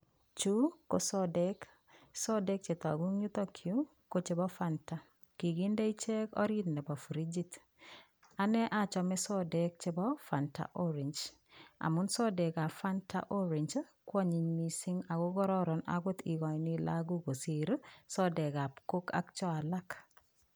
Chu ko sodek, sodek che toku ing yutok yu ko chebo Fanta, kikinde ichek orit nebo frijit. Ane achame sodek chebo Fanta Orange amun sodekab Fanta Orange kwonyiny mising ii ako karoron akot ikochini lagok kosir sodekab Coke ak cho alak.